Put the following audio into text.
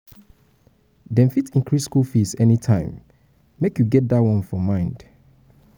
dem fit increase skool fees anytime make fees anytime make you get dat one for mind.